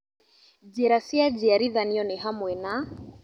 Njĩra cia njiarithanio nĩ hamwe na